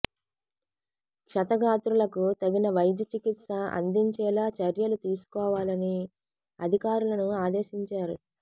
క్షతగాత్రులకు తగిన వైద్య చికిత్స అందించేలా చర్యలు తీసుకోవాలని అధికారులను ఆదేశించారు